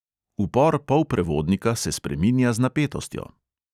Upor polprevodnika se spreminja z napetostjo.